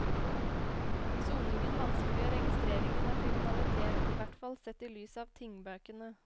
Soningen vanskeliggjør registreringen av kriminalitet, ihvertfall sett i lys av tingbøkene.